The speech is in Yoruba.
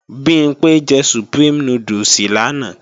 Bimpé jẹ Supreme núdùsì lánàá